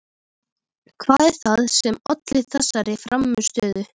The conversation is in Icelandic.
Hvað er það sem olli þessari frammistöðu?